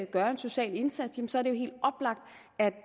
gøre en social indsats så er